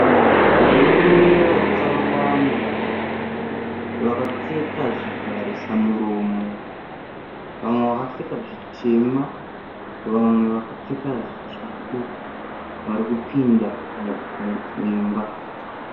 Varume vakawanda vakapfeka zvivharisa muromo. Vamwe vakapfeka zvitema vamwe vakapfeka zvitsvuku varikupinda muimba.